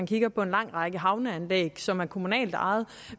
kigger på en lang række havneanlæg som er kommunalt ejede